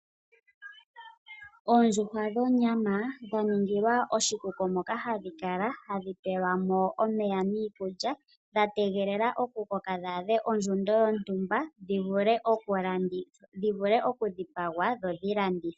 Oondjuhwa dhonyama, dha ningilwa oshikuku moka hadhi kala hadhi pelwa mo omeya niikulya, dha tegelela okukoka dhi adhe ondjundo yontumba dhi vule okulandithwa, dhi vule okudhipagwa dho dhi landithwe.